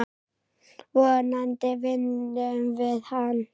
Vonandi vinnum við hann.